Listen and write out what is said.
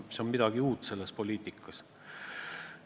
See on midagi uut selles poliitikas.